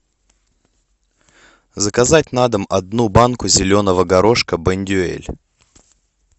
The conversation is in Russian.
заказать на дом одну банку зеленого горошка бондюэль